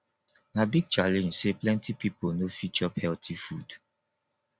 na big challenge sey plenty pipo no fit chop healthy food